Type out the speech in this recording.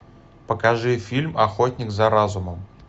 покажи фильм охотник за разумом